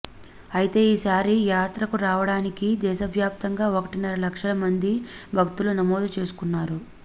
అయితే ఈ సారి యాత్రకు రావడానికి దేశవ్యాప్తంగా ఒకటిన్నర లక్షల మంది భక్తులు నమోదు చేసుకున్నారు